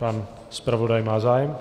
Pan zpravodaj má zájem?